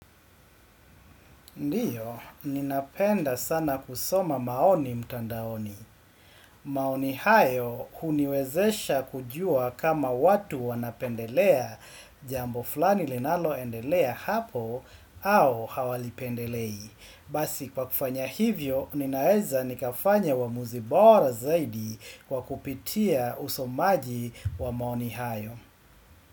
Ndiyo, ninapenda sana kusoma maoni mtandaoni. Maoni hayo huniwezesha kujua kama watu wanapendelea jambo flani linaloendelea hapo au hawalipendelei. Basi kwa kufanya hivyo, ninaeza nikafanya wa muzibora zaidi kwa kupitia usomaji wa maoni hayo.